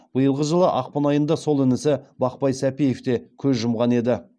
биылғы жылы ақпан айында сол інісі бақтай сәпиев те көз жұмған еді